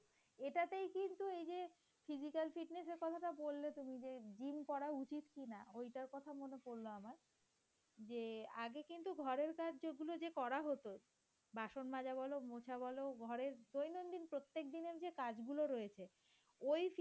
মনে পড়লো আমার যে আগে কিন্তু ঘরের কাজগুলো যে করা হতো । বাসন মাজা বলো মোচা বল ঘরের দৈনন্দিন প্রত্যেকদিনের যে কাজগুলো রয়েছে ওই